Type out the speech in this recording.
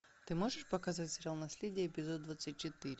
ты можешь показать сериал наследие эпизод двадцать четыре